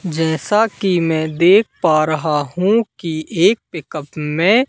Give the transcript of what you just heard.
जैसा कि मैं देख पा रहा हु कि एक पिकअप में--